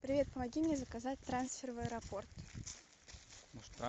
привет помоги мне заказать трансфер в аэропорт